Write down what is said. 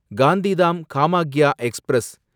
Gandhidham Kamakhya express